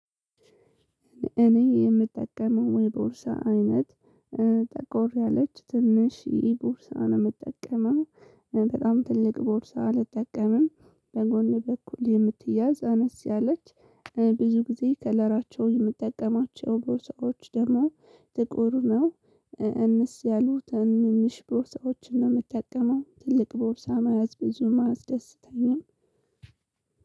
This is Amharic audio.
እኔ የምጠቀመው የቦርሳ አይነት ጠቆር ያለች ትንሽ ይሄ ቦርሳ ነው የምጠቀመው። በጣም ትልቅ ቦርሳ አልጠቀምም በጎን በኩል የምትያዝ አነስ ያለች። ብዙ ጊዜ ከለራቸውን የምጠቀማቸው ቦርሳዎች ደግሞ ጥቁር ነው። አነስ ያሉ ትንንሽ ቦርሳዎችን ነው የምጠቀመው ትልቅ ቦርሳ መያዝ ብዙም አያስደስተኝም።